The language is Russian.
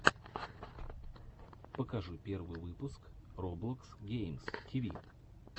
покажи первый выпуск роблокс геймс тиви